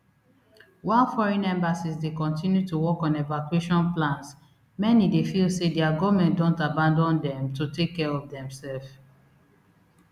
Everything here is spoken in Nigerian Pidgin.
while foreign embassies dey continue to work on evacuation plans many dey feel say dia goment don abandon dem to take care of demsef